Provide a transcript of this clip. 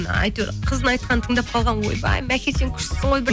әйтеуір қыздың айтқанын тыңдап қалған ғой ойбай мәке сен күштісің ғой